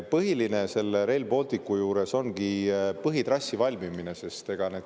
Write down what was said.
Põhiline selle Rail Balticu juures ongi põhitrassi valmimine.